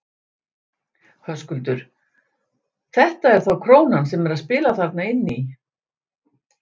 Höskuldur: Þetta er þá krónan sem er að spila þarna inn í?